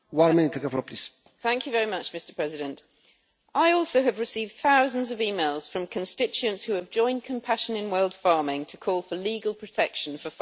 Mr President, I have also received thousands of emails from constituents who have joined Compassion in World Farming in calling for legal protection for farmed rabbits across the EU.